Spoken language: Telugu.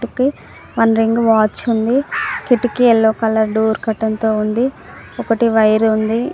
కి వన్ రింగ్ వాచ్ ఉంది. కిటికీ యెల్లో కలర్ డోర్ కర్టైన్తో ఉంది. ఒకటి వైర్ ఉంది.